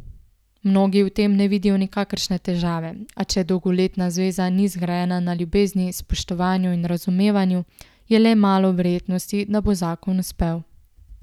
Mnogi v tem ne vidijo nikakršne težave, a če dolgoletna zveza ni zgrajena na ljubezni, spoštovanju in razumevanju, je le malo verjetnosti, da bo zakon uspel.